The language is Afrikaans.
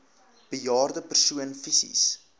bejaarde persoon fisies